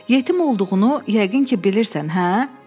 Yetim olduğunu yəqin ki, bilirsən, hə?